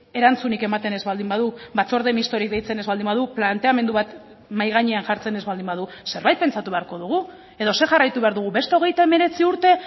erantzunik ematen ez baldin badu batzorde mistorik deitzen ez baldin badu planteamendu bat mahai gainean jartzen ez baldin badu zerbait pentsatu beharko dugu edo zer jarraitu behar dugu beste hogeita hemeretzi urte